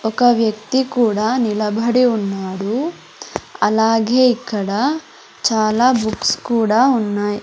ఒక వ్యక్తి కూడా నిలబడి ఉన్నాడు అలాగే ఇక్కడ చాలా బుక్స్ కూడా ఉన్నాయి.